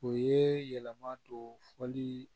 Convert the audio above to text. O ye yɛlɛma don fɔli